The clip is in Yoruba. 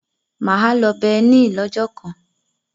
Mà á lọ Berlin lọ́jọ́ kan.